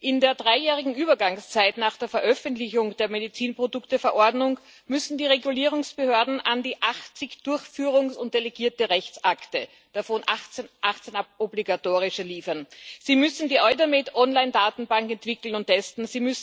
In der dreijährigen Übergangszeit nach der Veröffentlichung der Medizinprodukteverordnung müssen die Regulierungsbehörden an die 80 Durchführungs und delegierte Rechtsakte, davon 18 obligatorische, liefern. Sie müssen die Eudamed-Onlinedatenbank entwickeln und testen.